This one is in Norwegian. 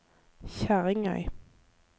Kjerringøy